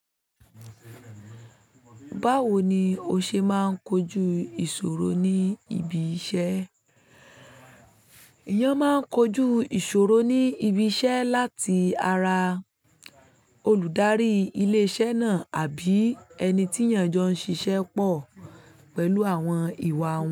Báwo ni o ṣe máa ń kojú ìṣòro ní ibi iṣẹ́? Èèyàn máa ń kojú ìṣòro ní ibi iṣẹ́ láti ara olùdarí ilé-iṣẹ́ náà àbí ẹni tí èèyàn jọ ń ṣiṣẹ́ pọ̀ pẹ̀lú àwọn ìwà wọn.